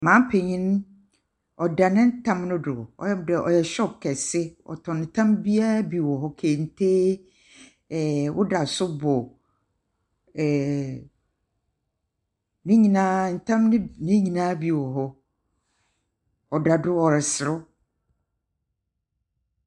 Maame panyin, ɔda ne tam do, ɔyɛ dɛ ɔyɛ shop kɛse, ɔtɔn tam biara bi wɔ hɔ bi. Kente, ɛɛ wodasobɔ, ɛɛ ne nyina bi tam ne nyina bi wɔ hɔ. Ɔda do ɔreserew.